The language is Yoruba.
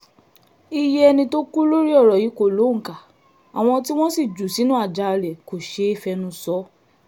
iye ẹni tó kú lórí ọ̀rọ̀ yìí kò lóǹkà àwọn tí wọ́n sì jù sínú àjàalẹ̀ kò ṣeé fẹnu sọ